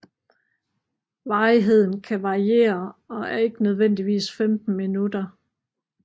Varigheden kan variere og er ikke nødvendigvis 15 minutter